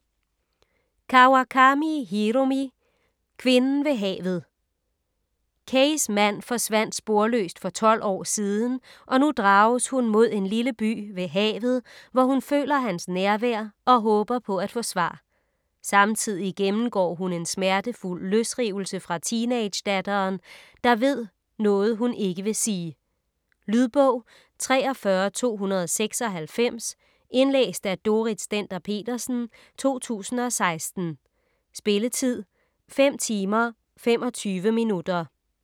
Kawakami, Hiromi: Kvinden ved havet Keis mand forsvandt sporløst for tolv år siden, og nu drages hun mod en lille by ved havet, hvor hun føler hans nærvær og håber på at få svar. Samtidig gennemgår hun en smertefuld løsrivelse fra teenagedatteren, der ved noget hun ikke vil sige. Lydbog 43296 Indlæst af Dorrit Stender-Petersen, 2016. Spilletid: 5 timer, 25 minutter.